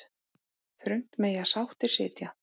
Þröngt mega sáttir sitja.